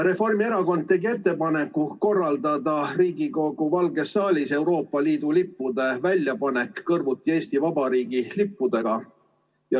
Reformierakond tegi ettepaneku korraldada Riigikogu Valges saalis Euroopa Liidu lippude väljapanek kõrvuti Eesti Vabariigi lippudega.